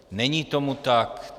Není tomu tak.